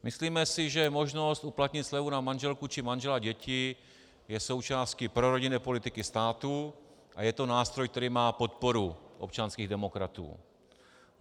Myslíme si, že možnost uplatnit slevu na manželku či manžela, děti je součástí prorodinné politiky státu a je to nástroj, který má podporu občanských demokratů.